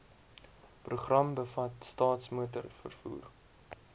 program bevat staatsmotorvervoer